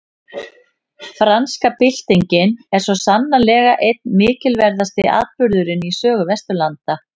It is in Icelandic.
Franska byltingin er svo sannarlega einn mikilverðasti atburðurinn í sögu Vesturlanda.